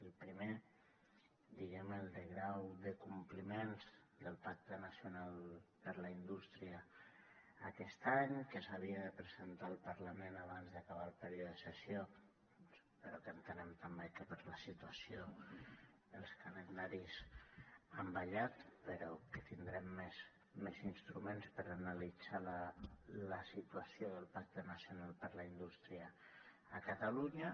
el primer diguem ne el de grau de compliments del pacte nacional per a la indústria aquest any que s’havia de presentar al parlament abans d’acabar el període de sessió però que entenem també que per la situació els calendaris han ballat però que tindrem més instruments per analitzar la situació del pacte nacional per a la indústria a catalunya